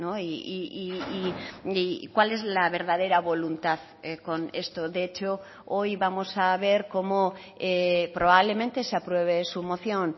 y cuál es la verdadera voluntad con esto de hecho hoy vamos a ver cómo probablemente se apruebe su moción